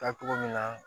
Taa cogo min na